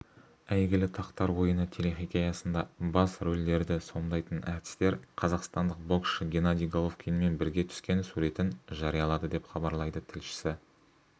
әйгілі тақтар ойыны телехикаясында бас рөлдерді сомдайтын әртістер қазақстандық боксшы геннадий головкинмен бірге түскен суретін жариялады деп хабарлайды тілшісі